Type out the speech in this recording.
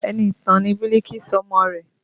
Enitan ni Biliki sọ ọmọ rẹ̀